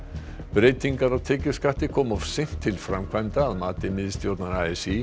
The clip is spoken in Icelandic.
breytingar á tekjuskatti koma of seint til framkvæmda að mati miðstjórnar a s í